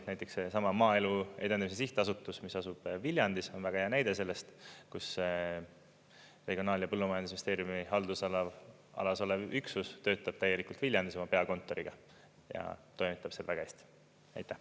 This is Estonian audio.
Näiteks seesama Maaelu Edendamise Sihtasutus, mis asub Viljandis, on väga hea näide sellest, kus Regionaal- ja Põllumajandusministeeriumi haldusalas olev üksus töötab täielikult Viljandis oma peakontoriga ja toimetab seal vägesid.